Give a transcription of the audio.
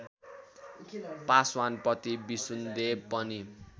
पासवानपति विसुनदेव पनि